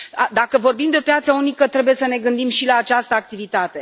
Dacă vorbim de piața unică trebuie să ne gândim și la această activitate.